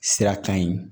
Sira kan ye